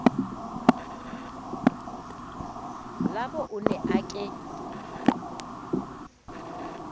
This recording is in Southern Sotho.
labo o ne a ke